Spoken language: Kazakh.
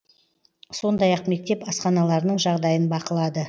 сондай ақ мектеп асханаларының жағдайын бақылады